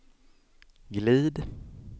glid